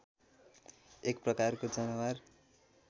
एक प्रकारको जनावर